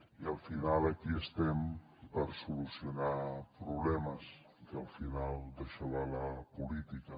i al final aquí estem per solucionar problemes que al final d’això va la política